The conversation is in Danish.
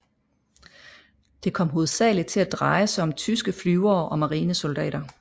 Det kom hovedsagelig til at dreje sig om tyske flyvere og marinesoldater